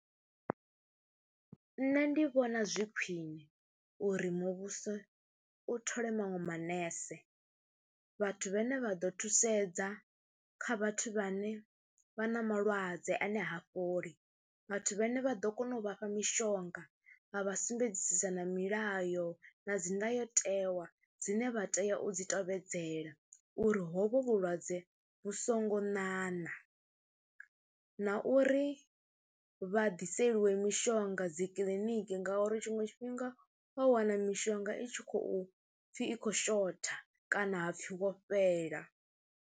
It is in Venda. Nṋe ndi vhona zwi khwine uri muvhuso u thole maṅwe manese vhathu vhane vha ḓo thusedza kha vhathu vha ne vha na malwadze ane ha fholi, vhathu vhane vha ḓo kona u vhafha mishonga vha vha sumbedzisa na milayo na dzi ndayotewa dzine vha tea u dzi tevhedzela uri hovho vhulwadze vhu songo ṋaṋa na uri vha ḓiseliwe mishonga dzi kiḽiniki ngauri tshiṅwe tshifhinga wa wana mishonga i tshi khou pfhi i khou shotha kana ha pfhi wo fhela.